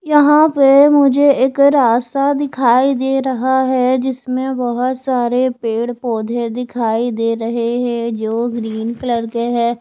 यहाँ पे मुझे एक रास्ता दिखाई दे रहा है जिसमे बहुत सारे पेड़- पौधे दिखाई दे रहे है जो ग्रीन कलर के है।